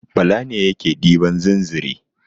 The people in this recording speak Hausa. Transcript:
Bala ne yake ɗiban zinzre.